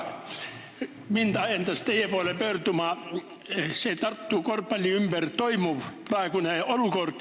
Mind ajendas teie poole pöörduma praegu Tartu korvpalli ümber toimuv.